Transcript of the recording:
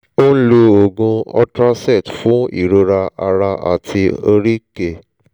ó ń lo oògùn ultracet fún ìrora ara àti oríkèé